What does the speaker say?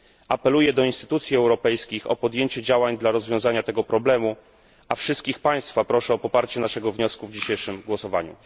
Apeluję do instytucji europejskich o podjęcie działań na rzecz rozwiązania tego problemu, a wszystkich państwa proszę o poparcie naszego wniosku w dzisiejszym głosowaniu.